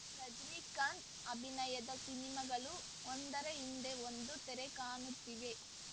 ರಜನಿಕಾಂತ್‌ ಅಭಿನಯದ ಸಿನಿಮಾಗಳು ಒಂದರ ಹಿಂದೆ ಒಂದು ತೆರೆ ಕಾಣುತ್ತಿವೆ